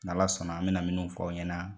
Ala sɔnna an bɛ min fɔ aw ɲɛna